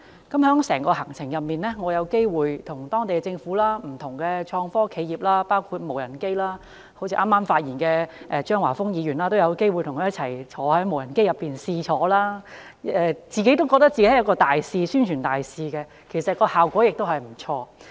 在整個行程中，我有機會與當地政府、不同創科企業交流，我亦嘗試與剛剛發言的張華峰議員一同乘坐無人機，讓我覺得自己也成為一位宣傳大使，其實效果也不錯。